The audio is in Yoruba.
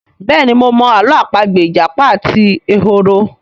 béèni mo mọ Àló̩ àpagbè ìjàpá àti ehoro.